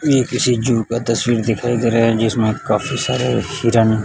ये किसी जू का तसवीर दिखाई दे रहा है जिसमें काफी सारे हिरण--